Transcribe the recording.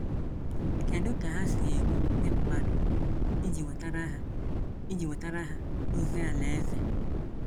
Kedu ka ha si eru ndị mmadụ iji wetara ha iji wetara ha ozi Alaeze?